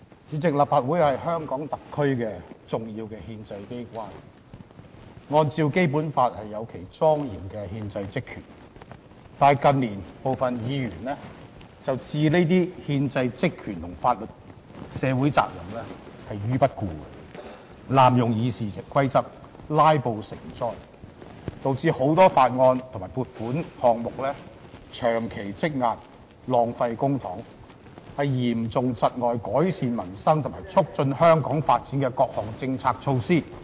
主席，立法會是香港特區重要的憲制機關，按照《基本法》有其莊嚴的憲制職權，但近年部分議員置這些憲制職權及社會責任於不顧，濫用《議事規則》，"拉布"成災，導致很多法案和撥款項目長期積壓，浪費公帑，嚴重窒礙改善民生及促進香港發展的各項政策措施......